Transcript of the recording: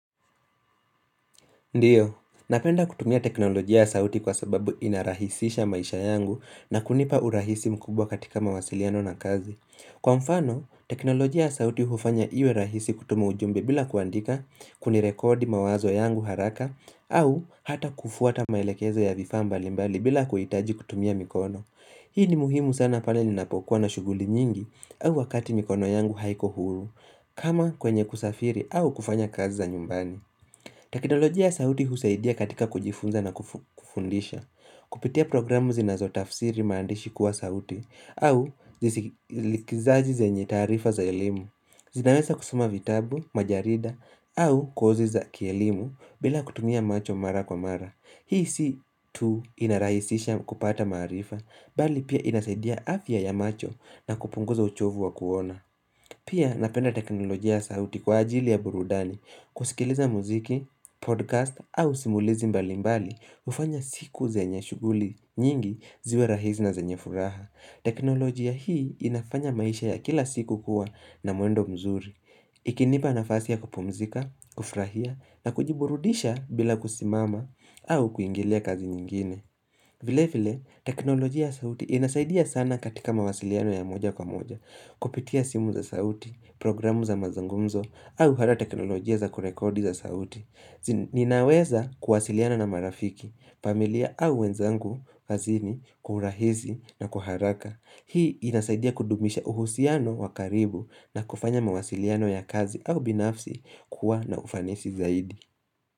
Ndiyo, ninapenda kutumia teknolojia ya sauti kwa sababu inarahisisha maisha yangu na kunipa urahisi mkubwa katika mawasiliano na kazi. Kwa mfano, teknolojia ya sauti hufanya iwe rahisi kutuma ujumbe bila kuandika kunirekodi mawazo yangu haraka au hata kufuata maelekezo ya vifaa mbali mbali bila kuhitaji kutumia mikono. Hii ni muhimu sana pale ninapokuwa na shughuli nyingi au wakati mikono yangu haiko huru, kama kwenye kusafiri au kufanya kazi za nyumbani. Teknolojia ya sauti husaidia katika kujifunza na kufundisha Kupitia programu zinazotafsiri maandishi kuwa sauti au zisikizaji zenye taarifa za elimu zinaweza kusoma vitabu, majarida au kozi za kielimu bila kutumia macho mara kwa mara Hii si tu inarahisisha kupata marifa Bali pia inasaidia afya ya macho na kupunguza uchovu wa kuona Pia napenda teknolojia ya sauti kwa ajili ya burudani kusikiliza muziki, podcast au simulizi mbali mbali hufanya siku zenye shughuli nyingi ziwe rahisi na zenye furaha teknolojia hii inafanya maisha ya kila siku kuwa na mwendo mzuri Ikinipa na fasi ya kupumzika, kufurahia na kujiburudisha bila kusimama au kuingilia kazi nyingine vile vile, teknolojia ya sauti inasaidia sana katika mawasiliano ya moja kwa moja Kupitia simu za sauti, programu za mazungumzo au hata teknolojia za kurekodi za sauti Ninaweza kuwasiliana na marafiki, familia au wenzangu, kazini, kwa urahisi na kwa haraka Hii inasaidia kudumisha uhusiano wakaribu na kufanya mawasiliano ya kazi au binafsi kuwa na ufanisi zaidi.